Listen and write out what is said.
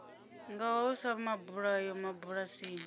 nga ho sa mabulayo mabulasini